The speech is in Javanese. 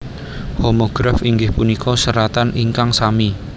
Homograf inggih punika seratan ingkang sami